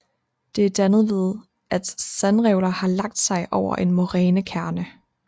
Det er dannet ved at sandrevler har lagt sig over en morænekærne